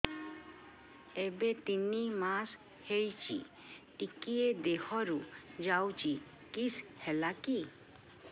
ଏବେ ତିନ୍ ମାସ ହେଇଛି ଟିକିଏ ଦିହରୁ ଯାଉଛି କିଶ ହେଲାକି